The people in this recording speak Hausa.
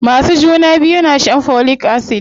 Masu juna biyu na shan folic acid.